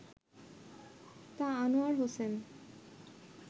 তা আনোয়ার হোসেন